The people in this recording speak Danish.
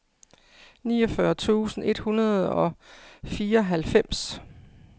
niogfyrre tusind et hundrede og fireoghalvfems